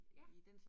Ja